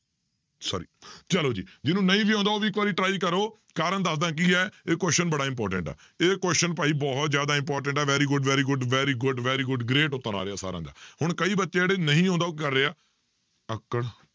Sorry ਚਲੋ ਜੀ ਜਿਹਨੂੰ ਨਹੀਂ ਵੀ ਆਉਂਦਾ ਉਹ ਵੀ ਇੱਕ ਵਾਰੀ try ਕਰੋ, ਕਾਰਨ ਦੱਸਦਾਂ ਕੀ ਹੈ ਇਹ question ਬੜਾ important ਆ, ਇਹ question ਭਾਈ ਬਹੁਤ ਜ਼ਿਆਦਾ important ਆ very good, very good, very good, very good, great ਉੱਤਰ ਆ ਰਿਹਾ ਸਾਰਿਆਂ ਦਾ, ਹੁਣ ਕਈ ਬੱਚੇ ਆ ਜਿਹੜੇ ਨਹੀਂ ਆਉਂਦਾ ਉਹ ਕੀ ਕਰ ਰਹੇ ਆ, ਅੱਕੜ